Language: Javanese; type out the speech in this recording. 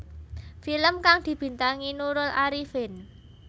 Film kang dibintangi Nurul Arifin